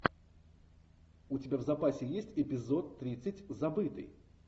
у тебя в запасе есть эпизод тридцать забытый